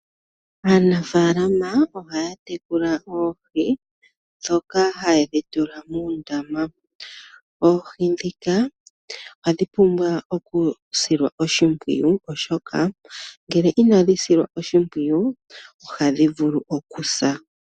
Aanafaalama ohaya tekula oohi ndhoka ha yedhi tula muundama. Oohi ndhika ohadhi pumbwa oku silwa oshipwiyu, oshoka ngele ina dhi silwa oshimpwiyu, ohadhi vulu okusa.